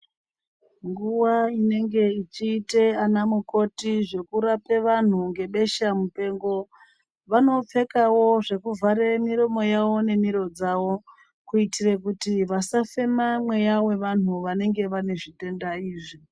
Nguwa inenge ichiite anamukoti zvekurape vanhu ngebeshamupengo, vanopfekawo zvekuvhare miromo yawo nemiro dzawo, kuitire kuti vasafema mweya wevantu vanenge vane zvitenda izvi.